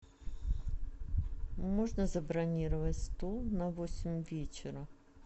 можно забронировать стол на восемь вечера